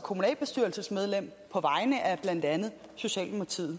kommunalbestyrelsesmedlem på vegne af blandt andet socialdemokratiet